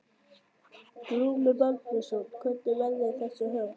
Glúmur Baldvinsson: Hvernig verða þessi óhöpp?